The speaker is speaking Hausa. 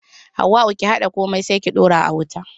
Hauwa'u ki haɗa komai sai ki daura a wuta.